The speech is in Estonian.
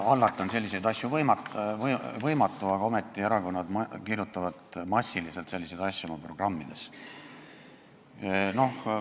Hallata on selliseid asju võimatu, aga ometi erakonnad kirjutavad massiliselt selliseid asju oma programmidesse.